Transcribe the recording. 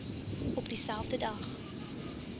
op dieselfde dag